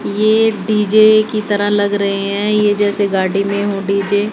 ये डी_जे की तरह लग रहे हैं ये जैसे गाड़ी में हों डी_जे ।